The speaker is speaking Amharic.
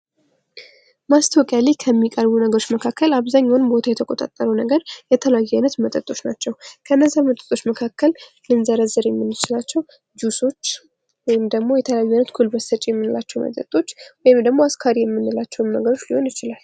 ማስታወቂያ ላይ ከሚቀርቡ ነገሮች መካከል አብዛኛውን ቦታ ነገር የተለያዩ አይነት መጠጦች ናቸው። ከነዚህ መጠጦች መካከል ልንዘረዝር የምንችላቸው ጁሶች ወይንም ደግሞ የተለያዩ አይነት ጉጉልበት ሰጭ የምንላቸው መጠጦች ወይም ደግሞ አስካሪ የምንላቸውም ነገሮች ሊሆን ይችላል።